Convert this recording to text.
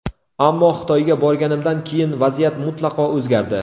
Ammo Xitoyga borganimdan keyin vaziyat mutlaqo o‘zgardi.